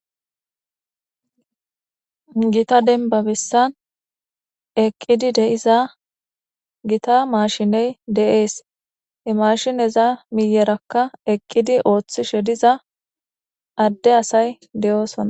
gita denba bessan eqqidi de'iza gita mashiney de7ees imashineza miyerakka eqqidi ooththi shediza adde asay de7oosona